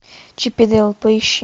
чип и дейл поищи